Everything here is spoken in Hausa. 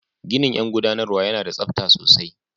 Ginin yan guɗanarwa yana da tsabta sosai.